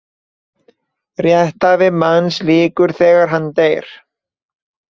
Rétthæfi manns lýkur þegar hann deyr.